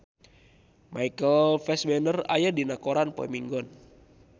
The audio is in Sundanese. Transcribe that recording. Michael Fassbender aya dina koran poe Minggon